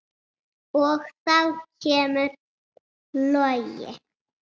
Og þá kemur Logi.